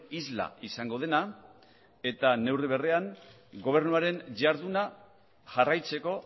isla izango dena eta neurri berean gobernuaren jarduna jarraitzeko